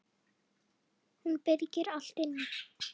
Hún byrgir allt inni.